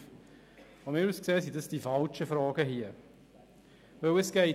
Aus meiner Sicht handelt es sich dabei aber um die falschen Fragen.